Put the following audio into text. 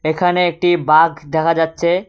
এখানে একটি বাঘ দেখা যাচ্ছে।